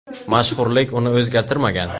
Mashhurlik uni o‘zgartirmagan.